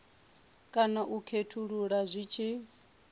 kana u khethulula zwi tshi